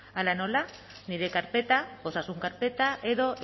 hala nola nire karpeta osasun karpeta edo